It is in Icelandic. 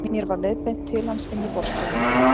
Mér var leiðbeint til hans inn í borðstofuna.